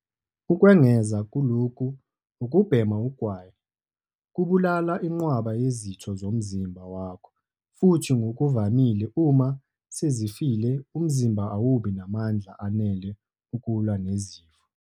Ukwengeza kulokhu, ukubhema ugwayi kubulala inqwaba yezitho zomzimba wakho futhi ngokuvamile uma sezifile umzimba awubi namandla anele ukulwa nezifo.